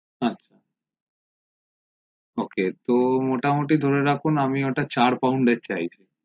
হা ok তো মোটা মতি ধরে রাখুন আমি ওটা চার proud চাইছি